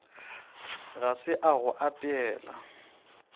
ga se a go apeela